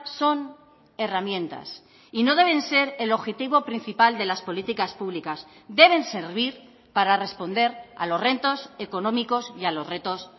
son herramientas y no deben ser el objetivo principal de las políticas públicas deben servir para responder a los retos económicos y a los retos